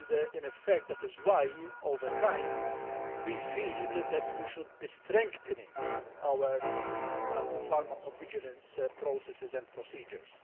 In effect, that is why, over time, we feel that we should be strengthening our pharmacovigilance processes and procedures.